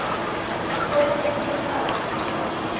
центр гимнастики